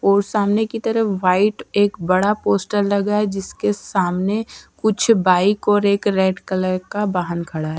और समाने की तरफ व्हाईट एक बड़ा पोस्टर लगा है जिसके सामने कुछ बाईक और एक रेड कलर का वाहन खड़ा है.